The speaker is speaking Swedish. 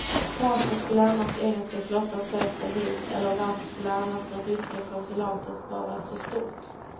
Varför skulle annars engelska flottan sökt sig hit eller varför skulle annars den ryska konsulatet vara så stort.